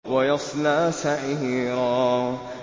وَيَصْلَىٰ سَعِيرًا